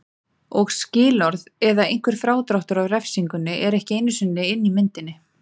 Og skilorð eða einhver frádráttur af refsingunni er ekki einu sinni inni í myndinni.